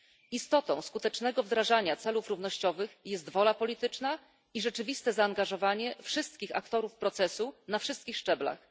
Istotą skutecznego wdrażania celów równościowych jest wola polityczna i rzeczywiste zaangażowanie wszystkich aktorów procesu na wszystkich szczeblach.